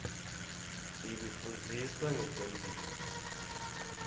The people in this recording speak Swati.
ibifundzisa nqetemphilo